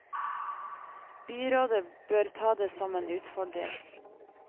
Byrådet bør ta det som en utfordring.